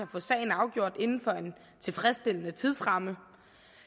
få sagen afgjort inden for en tilfredsstillende tidsramme